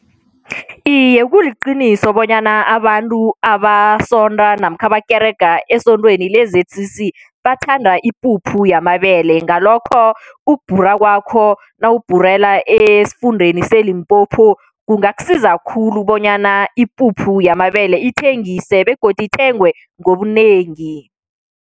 Iye, kuliqiniso bonyana abantu abasonda namkha abakerega, esondweni le-Z_C_C bathanda ipuphu yamabele. Ngalokho ukubhura kwakho nawubhurela esifundeni seLimpopo kungakusiza khulu bonyana ipuphu yamabele ithengise begodu ithengwe ngobunengi.